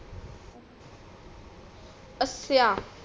ਅੱਛਾ